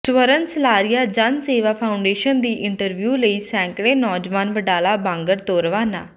ਸਵਰਨ Salaria Jan Sewa foundation ਦੀ interview ਲਈ ਸੈਂਕੜੇ ਨੌਜਵਾਨ ਵਡਾਲਾ ਬਾਂਗਰ ਤੋਂ ਰਵਾਨਾ